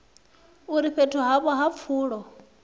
uri fhethu havho ha pfulo